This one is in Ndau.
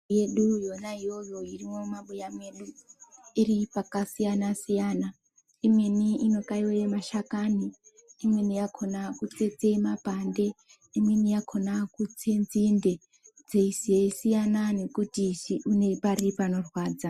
Yedu ino iyoyo irimwo mumabuya mwedu iri pakasiyana siyana imweni inokaiwa mashakani imweni yakona kutsetse mapande imweni yakona kutse nzinde zveisiyana nekuti une pari panorwadza.